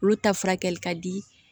Olu ta furakɛli ka di